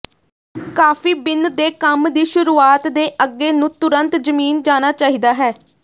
ਕਾਫੀ bean ਦੇ ਕੰਮ ਦੀ ਸ਼ੁਰੂਆਤ ਦੇ ਅੱਗੇ ਨੂੰ ਤੁਰੰਤ ਜ਼ਮੀਨ ਜਾਣਾ ਚਾਹੀਦਾ ਹੈ